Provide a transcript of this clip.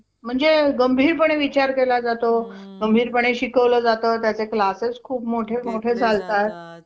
तर आधार आणि रेशन मधल नाव अं एकदम same आहे त्याच्यात काहीच problem नाहीये so मला आता हे चारच document घेऊन executive ला भेटायचंय बरोबर ना?